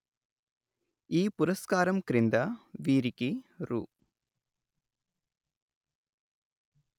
ఈ పురస్కారం క్రింద వీరికి రు